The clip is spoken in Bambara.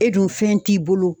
E dun fɛn t'i bolo